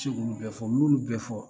I bi se k'olu bɛ fɔ, ni y'olu bɛ fɔ